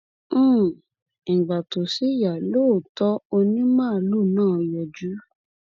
um ìgbà tó sì yá lóòótọ onímàálù náà yọjú